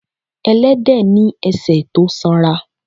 Ẹlẹ́dẹ̀ ni ẹsẹ̀ tó sanra.